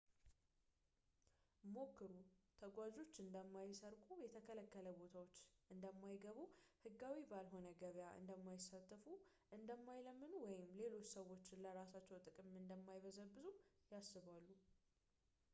ምክሩ ተጓዦች እንደማይሰርቁ፣ የተከለከሉ ቦታዎች እንደማይገቡ ፣ ህጋዊ ባልሆነ ገበያ እንደማይሳተፉ፣ እንደማይለምኑ ወይም ሌሎች ሰዎችን ለራሳቸው ጥቅም እንደማይበዘብዙ ያስባል